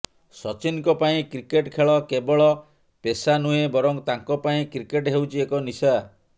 ସଚିନଙ୍କ ପାଇଁ କ୍ରିକେଟ୍ ଖେଳ କେବଳ ପେଶା ନୁହେଁ ବରଂ ତାଙ୍କ ପାଇଁ କ୍ରିକେଟ୍ ହେଉଛି ଏକ ନିଶା